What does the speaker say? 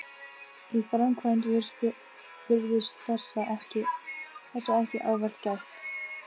Í framkvæmd virðist þessa ekki ávallt gætt.